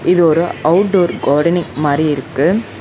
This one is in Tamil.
இது ஒரு அவுட் டோர் கார்டனிங் மாரி இருக்கு.